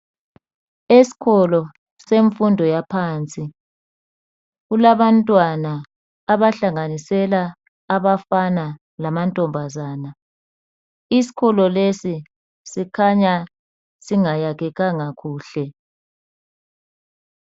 Esikolo semfundo yaphansi kulabantwana abahlanganisela abafana lamantombazana .Isikolo lesi sikhanya singayakhekanga kuhle.